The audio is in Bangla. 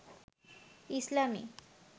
ইসলামি